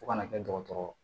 Fo kana kɛ dɔgɔtɔrɔ